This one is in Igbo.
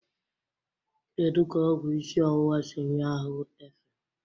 Kedu ka ọgwụ isi ọwụwa si nye ahụ efe?